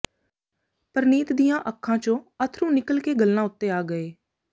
ਪਰਨੀਤ ਦੀਆਂ ਅੱਖਾਂ ਚੋਂ ਅੱਥਰੂ ਨਿੱਕਲ ਕੇ ਗੱਲ੍ਹਾਂ ਉੱਤੇ ਆ ਗਏ